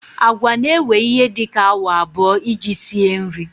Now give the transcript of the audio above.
Agwa na-ewe ihe dị ka awa abụọ iji sie nri.